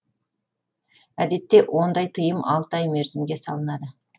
әдетте ондай тыйым алты ай мерзімге салынады